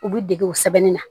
U bi dege o sɛbɛnni na